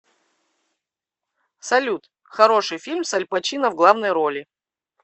салют хороший фильм с альпачино в главной роли